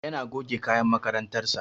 Yana goge kayan makarantar sa